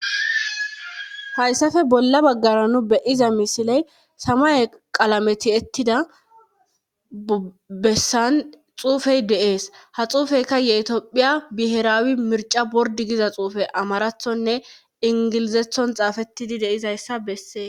Haysape bolla bagara nu be'aza misiley samaye qalame tiyetida besan xafetida de'es tophiya bi'iraw mircha bordi Giza xufey betes amarathone englazatho xafetidi dizaysa beses